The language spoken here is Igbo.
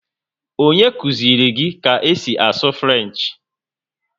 Onye kụziri gị ka esi asụ Frenchi?